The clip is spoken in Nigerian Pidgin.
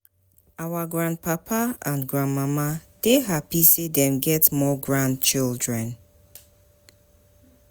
Our grandpapa and grandmama dey happy sey dem get more grandchildren.